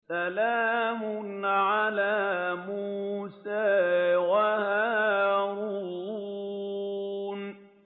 سَلَامٌ عَلَىٰ مُوسَىٰ وَهَارُونَ